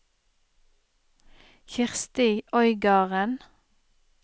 Kirsti Øygarden